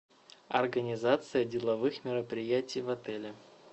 организация деловых мероприятий в отеле